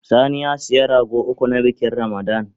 Sani ya siya rago uku, na bikin Ramada